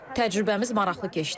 Təcrübəmiz maraqlı keçdi.